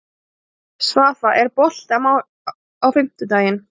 Svafa, er bolti á fimmtudaginn?